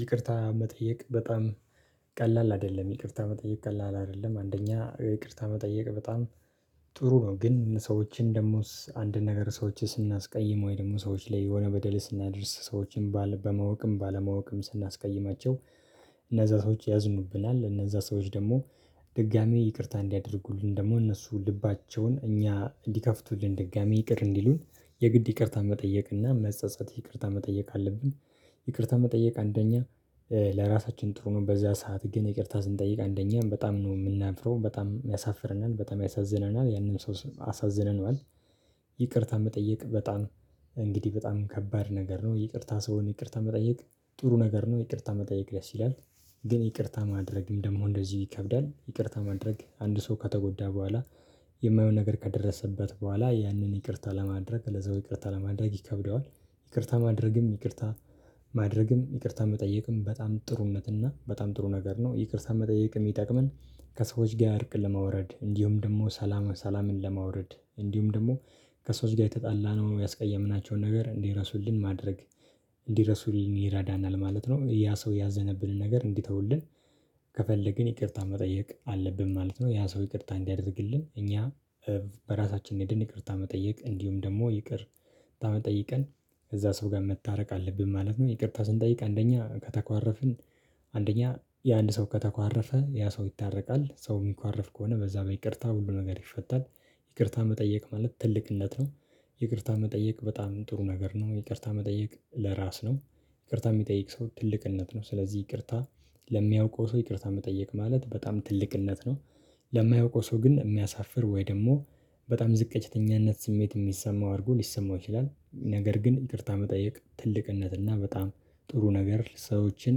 ይቅርታ መጠየቅ በጣም ቀላል አይደለም ይቅርታ መጠየቅ ቀላል አይደለም አንደኛ ይቅርታ መጠየቅ በጣም ጥሩ ነው። ግን ሰዎችን ደግሞስ አንድ ነገር ሰዎችን ስናስቀይም ወይ ደግሞ ሰዎች ላይ የሆነ በደል ስናደርስ ሰዎችን ባለ በማወቅም ባለማወቅም ስናስቀይማቸው። እነዛ ሰዎች ያዝኑብናል እነዛ ሰዎች ደግሞ ድጋሚ ይቅርታ እንዲያደርጉልን ደግሞ እነሱ ልባቸውን እኛ እንዲከፍቱልን ድጋሚ ይቅር እንዲሉን የግድ ይቅርታ መጠየቅ እና መጸጸት ይቅርታ መጠየቅ አለብን። ይቅርታ መጠየቅ አንደኛ ለራሳችን ጥሩ ነው። በዛ ሰዓት ግን ይቅርታ ስንጠይቅ አንደኛ በጣም ነው የምናፍረው በጣም የሚያሳፍርናል በጣም ያሳዝነናል ያንን ሰው አሳዝነን። ይቅርታ መጠየቅ በጣም እንግዲህ በጣም ከባድ ነገር ነው። ይቅርታ ሰውን ይቅርታ መጠየቅ ጥሩ ነገር ነው ይቅርታ መጠየቅ ደስ ይላል። ግን ይቅርታ ማድረግም ደግሞ እንደዚህ ይከብዳል ይቅርታ ማድረግ አንድ ሰው ከተጎዳ በኋላ የማይሆን ነገር ከደረሰበት በኋላ ያንን ይቅርታ ለማድረግ ለዛው ይቅርታ ለማድረግ ይከብደዋል። ይቅርታ ማድረግም ይቅርታ ማድረግም ይቅርታ መጠየቅም በጣም ጥሩነት እና በጣም ጥሩ ነገር ነው። ይቅርታ መጠየቅ ሚጠቅመን ከሰዎች ጋር አድርቅ ለመውረድ እንዲሁም ደግሞ ሰላም ሰላምን ለማውረድ እንዲሁም ደግሞ ከሰዎች ጋር የተጣላ ነው የሚያስቀየምናቸውን ነገር እንዲረሱልን ማድረግ እንዲረሱልን ይረዳናል ማለት ነው። ያ ሰው ያዘነብንን ነገር እንዲተውልን ከፈለግን ይቅርታ መጠየቅ አለብን ማለት ነው። ያ ሰው ይቅርታ እንዲያደርግልን እኛ በራሳችን እንሄድን ይቅርታ መጠየቅ እንዲሁም ደግሞ ይቅርታ መጠየቅን ከዛ ሰው ጋር መታረቅ አለብን ማለት ነው። ይቅርታ ስንጠይቅ አንደኛ ከተኳረፍን አንደኛ የአንድ ሰው ከተኳረፈ ያ ሰው ይታረቃል ሰው የሚኳረፍ ከሆነ በዛ በይቅርታ ሁሉ ነገር ይፈታል። ይቅርታ መጠየቅ ማለት ትልቅነት ነው። ይቅርታ መጠየቅ በጣም ጥሩ ነገር ነው ይቅርታ መጠየቅ ለራስ ነው። ይቅርታ የሚጠይቅ ሰው ትልቅነት ነው። ስለዚህ ይቅርታ ለሚያውቀው ሰው ይቅርታ መጠየቅ ማለት በጣም ትልቅነት ነው። ለማያውቀው ሰው ግን የሚያሳፍር ወይ ደግሞ በጣም ዝቅተኛነት ስሜት የሚሰማው አድርጎ ሊሰማው ይችላል። ነገር ግን ይቅርታ መጠየቅ ትልቅነት እና በጣም ጥሩ ነገር ሰዎችን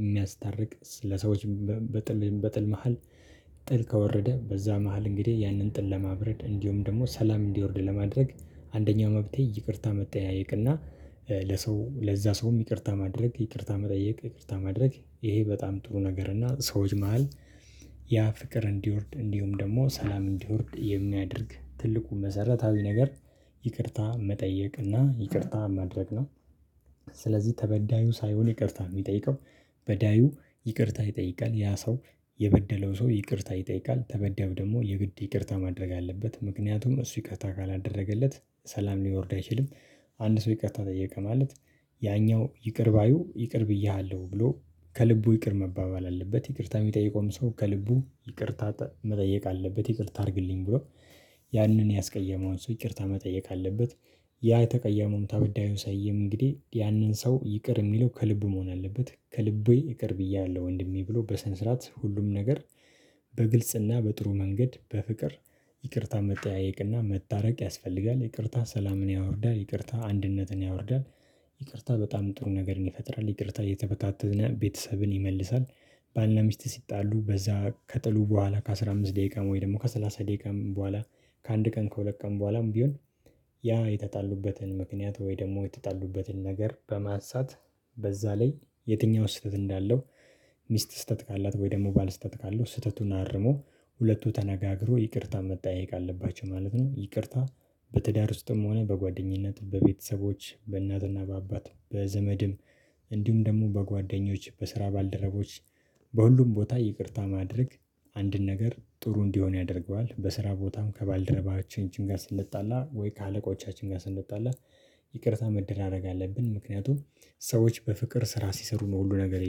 የሚያስታርቅ ለሰዎች በጥል በጥል መሃል። ጥል ከወረደ በዛ መሃል እንግዲህ ያንን ጥል ለማብረድ እንዲሁም ደግሞ ሰላም እንዲወርድ ለማድረግ አንደኛው መፍትሄ ይቅርታ መጠያየቅ እና። ለሰው ለዛ ሰውም ይቅርታ ማድረግ ይቅርታ መጠየቅ ይቅርታ ማድረግ ይሄ በጣም ጥሩ ነገር እና ሰዎች መሃል ያ ፍቅር እንዲወርድ እንዲሁም ደግሞ ሰላም እንዲወርድ የሚያደርግ ትልቁ መሰረታዊ ነገር ይቅርታ መጠየቅ እና ይቅርታ ማድረግ ነው። ስለዚህ ተበዳዩ ሳይሆን ይቅርታ የሚጠይቀው በዳዩ ይቅርታ ይጠይቃል ያ ሰው የበደለው ሰው ይቅርታ ይጠይቃል ተበዳዩብ ደግሞ የግድ ይቅርታ ማድረግ አለበት ምክንያቱም እሱ ይቅርታ ካላደረገለት ሰላም ሊወርድ አይችልም። አንድ ሰው ይቅርታ ጠየቀ ማለት ያኛው ይቅር ባዩ ይቅር ብዬሃለሁ ብሎ ከልቡ ይቅር መባባል አለበት። ይቅርታ የሚጠይቀውን ሰው ከልቡ ይቅርታ መጠየቅ አለበት ይቅርታ አድርግልኝ ብሎ ያንን ያስቀየመውን ሰው ይቅርታ መጠየቅ አለበት። ያ ተቀያሙም ተበዳዩ ሳውየም እንግዲህ ያንን ሰው ይቅር የሚለው ከልብ መሆን አለበት ከልቤ ይቅር ብያለሁ ወንድሜ ብሎ በስነስርዓት ሁሉም ነገር። በግልጽና በጥሩ መንገድ በፍቅር ይቅርታ መጠያየቅና መታረቅ ያስፈልጋል። ይቅርታ ሰላምን ያወርዳል ይቅርታ አንድነትን ያወርዳል። ይቅርታ በጣም ጥሩ ነገር ይፈጥራል ይቅርታ እየተበታተነ ቤተሰብን ይመልሳል። ባልና ሚስት ሲጣሉ በዛ ከጥሉ በኋላ ከአስራ አምስት ደቂቃ ወይ ደግሞ ከሰላሳ ደቂቃ በኋላ ከአንድ ቀን ከሁለት ቀን በኋላም ቢሆን ያ የተጣሉበትን ምክንያት ወይ ደግሞ የተጣሉበትን ነገር በማንሳት በዛ ላይ የትኛው ስህተት እንዳለው ሚስት ስህተት ካላት ወይ ደግሞ ባልስህተት ካለው ስህተቱን አርሞ ሁለቱ ተነጋግሮ ይቅርታ መጠያየቅ አለባቸው ማለት ነው። ይቅርታ በትዳር ውስጥም ሆነ በጓደኝነት በቤተሰቦች በእናትና በአባት በዘመድም እንዲሁም ደግሞ በጓደኞች በስራ ባልደረቦች በሁሉም ቦታ ይቅርታ ማድረግ። አንድን ነገር ጥሩ እንዲሆን ያደርገዋል በስራ ቦታም ከባልደረባችን ጋር ስንጣላ ወይ ከአለቆቻችን ጋር ስንጣላ ይቅርታ መደራረግ አለብን። ምክንያቱም ሰዎች በፍቅር ስራ ሲሰሩ ነው ሁሉ ነገር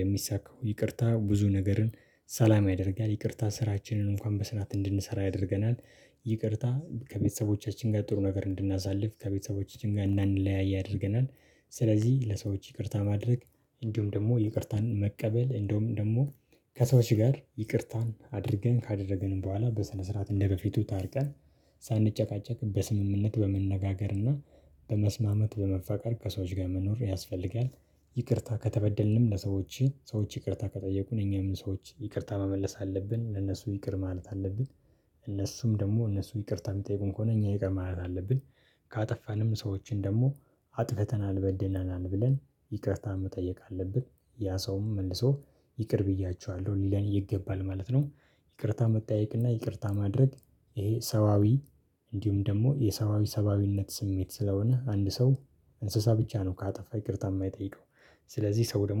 የሚሳካው ይቅርታ ብዙ ነገርን ሰላም ያደርጋል። ይቅርታ ስራችንን እንኳን በስራት እንድንሰራ ያደርገናል። ይቅርታ ከቤተሰቦቻችን ጋር ጥሩ ነገር እንድናሳልፍ ከቤተሰቦቻችን ጋር እናንለያይ ያደርገናል። ስለዚህ ለሰዎች ይቅርታ ማድረግ እንዲሁም ደግሞ ይቅርታን መቀበል እንደውም ደግሞ ከሰዎች ጋር ይቅርታን አድርገን ካደረገንም በኋላ በስነ ስርዓት እንደበፊቱ ታርቀን ሳንጨቃጨቅ በስምምነት በመነጋገርና በመስማማት በመፋቀር ከሰዎች ጋር መኖር ያስፈልጋል። ይቅርታ ከተበደልንም ለሰዎች ሰዎች ይቅርታ ከጠየቁን እኛም ሰዎች ይቅርታ መመለስ አለብን ለነሱ ይቅር ማለት አለብን። እነሱም ደግሞ እነሱ ይቅርታ የሚጠይቁን ከሆነ እኛ የቀረ ማየት አለብን። ካጠፋንም ሰዎችን ደግሞ አጥፍተናል በዴናናን ብለን ይቅርታ መጠየቅ አለብን። ያ ሰውም መልሶ ይቅር ብያችኋለሁ ሊለን ይገባል ማለት ነው። ይቅርታ መጠያየቅና ይቅርታ ማድረግ። ይሄ ሰባዊ እንዲሁም ደግሞ የሰባዊ ሰባዊነት ስሜት ስለሆነ አንድ ሰው እንስሳ ብቻ ነው ካጠፋ ይቅርታ የማይጠይቀው። ስለዚህ ሰው ደግሞ